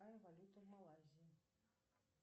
какая валюта в малазии